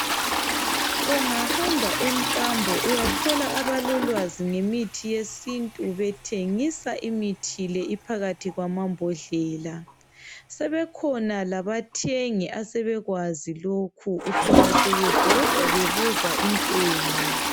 Ungahamba emkambo uyathola abalolwazi ngemithi yesintu bethengisa imithi le iphakathi kwamambodlela sebekhona labathengi asebekwazi lokhu uthola sebebhoda bebuza intengo